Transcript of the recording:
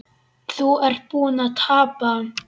Þú ert búinn að tapa